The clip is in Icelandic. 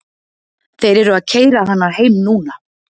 Þeir eru að keyra hana heim núna.